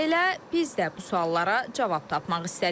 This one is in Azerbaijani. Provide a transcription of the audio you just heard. Elə biz də bu suallara cavab tapmaq istədik.